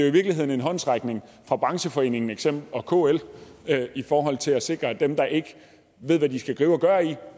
i virkeligheden en håndsrækning fra brancheforeningen og kl i forhold til at sikre at dem der ikke ved hvad de skal gribe og gøre